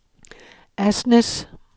Asnæs